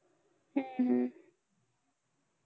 हम्म